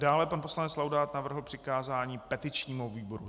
Dále pan poslanec Laudát navrhl přikázání petičnímu výboru.